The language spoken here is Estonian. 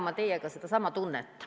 Ma pean jagama sedasama tunnet.